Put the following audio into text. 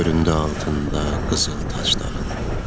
Göründü altında qızıl tacların.